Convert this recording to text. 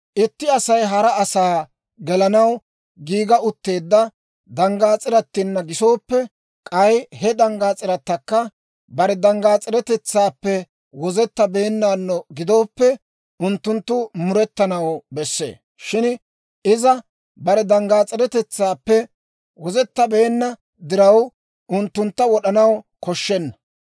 « ‹Itti Asay hara asaa gelanaw giiga utteedda danggaas'iratina gisooppe, k'ay he danggaas'iratakka bare danggaas'iretetsaappe wozettabeennaano gidooppe, unttunttu murettanaw bessee; shin iza bare danggaas'iretetsaappe wozettabeenna diraw, unttuntta wod'anaw koshshenna.